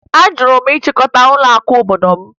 Ajụrụ m ịchịkọta ụlọakụ obodo m